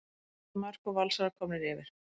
Fallegt mark og Valsarar komnir yfir.